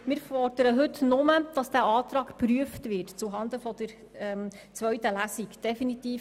Wir fordern nur, dass der Antrag heute zuhanden der zweiten Lesung geprüft wird.